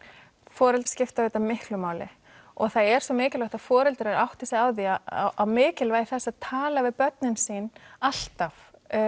foreldrar skipta auðvitað miklu máli það er svo mikilvægt að foreldrar átti sig á mikilvægi þess að tala við börnin sín alltaf